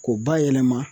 K'o bayɛlɛma